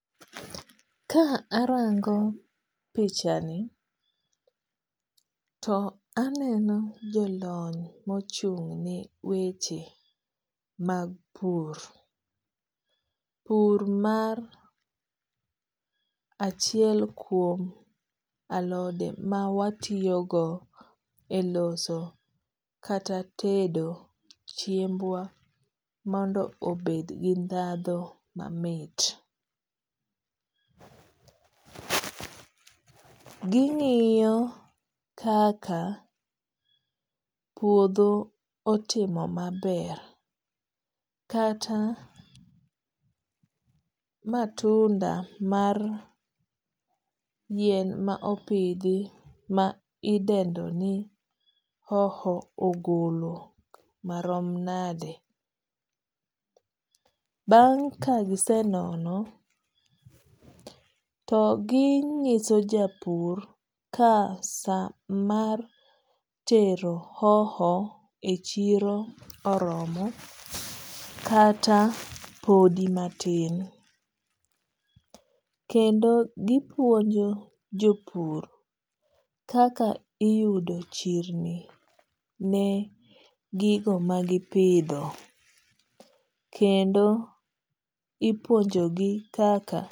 Ka arango pichani to aneno jolony mochung' ne weche mag pur. Pur mar achiel kuom alode ma watiyogo e loso kata tedo chiembwa mondo obed gi ndhadho mamit. Ging'iyo kaka puodho otimo maber kata matunda mar yien ma opidhi ma idendo ni hoho ogolo marom nade. Bang' kagise nono to ginyiso japur ka sa mar tero hoho e chiro oromo kata podi matin. Kendo gipuonjo jopur kaka iyudo chirni ne gigo magipidho. Kendo ipuonjo gi kaka.